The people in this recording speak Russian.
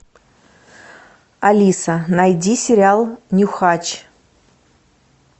алиса найди сериал нюхач